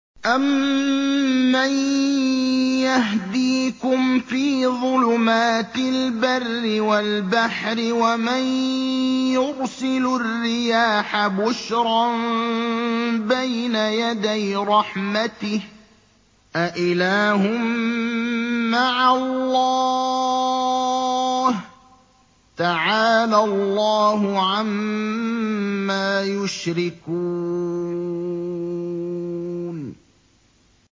أَمَّن يَهْدِيكُمْ فِي ظُلُمَاتِ الْبَرِّ وَالْبَحْرِ وَمَن يُرْسِلُ الرِّيَاحَ بُشْرًا بَيْنَ يَدَيْ رَحْمَتِهِ ۗ أَإِلَٰهٌ مَّعَ اللَّهِ ۚ تَعَالَى اللَّهُ عَمَّا يُشْرِكُونَ